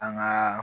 An ka